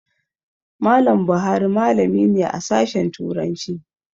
Mallam Buhari malami ne a Sashen Turanci.